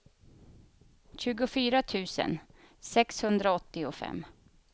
tjugofyra tusen sexhundraåttiofem